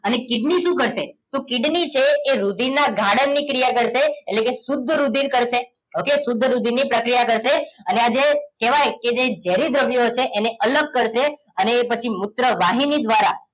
અને કિડની શું કરશે તો કિડની છે એ રુધિરના ગાળણની ક્રિયા કરશે એટલે કે શુદ્ધ રુધિર કરશે okay શુદ્ધ રુધિરની પ્રક્રિયા કરશે અને આ જે કહેવાય કે જે ઝેરી દ્રવ્યો હશે એને અલગ કરશે અને એ પછી મૂત્ર વાહિની દ્વારા